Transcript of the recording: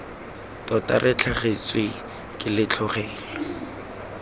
tota re latlhegetswe ke letlhogela